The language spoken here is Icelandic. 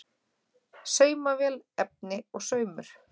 Saumavél, efni og saumur.